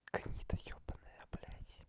гнида ёбанная блядь